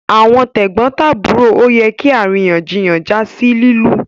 Àwọn tegbontaburo ọ yẹ kí àríyànjiyàn já sí lilu